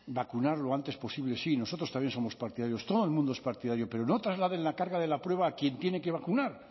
vacunar lo antes posible sí nosotros también somos partidarios todo el mundo es partidario pero no trasladen la carga de la prueba a quien tiene que vacunar